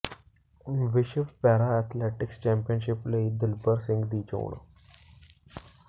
ਵਿਸ਼ਵ para athletics championship ਲਈ ਦਿਲਬਰ ਸਿੰਘ ਦੀ ਚੋਣ